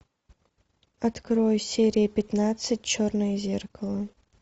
открой серия пятнадцать черное зеркало